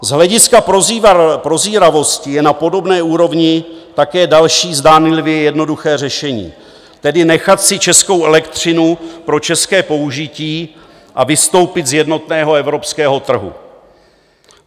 Z hlediska prozíravosti je na podobné úrovni také další zdánlivě jednoduché řešení, tedy nechat si českou elektřinu pro české použití a vystoupit z jednotného evropského trhu.